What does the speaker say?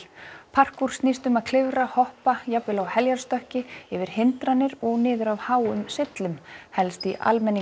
jaðarlífstíl parkour snýst um að klifra hoppa jafnvel á heljarstökki yfir hindranir og niður af háum syllum helst í